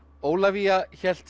Ólafía hélt